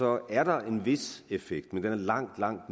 er der en vis effekt men den er langt langt